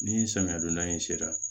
Ni samiya donda in sera